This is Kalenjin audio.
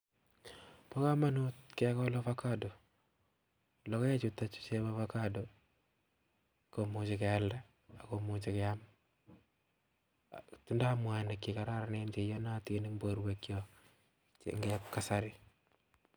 Bo komonut kegool avocado, logoekchuton bo avocado kimuchi kialda ak kimuchi kiam, tindo mwanik chekororonen ako cheiyonotin en borwekyok bouchebo kasarii